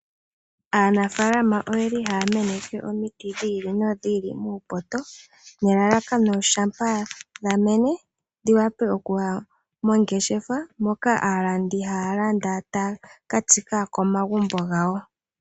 Aanafalama oyeli haya meneke omiti dhi ili nodhi ili muupoto. Nelalakano shampa dhamene, dhiwape okuya mongeshefa mpoka aalandi hayalanda taya katsika komagumbo gawo.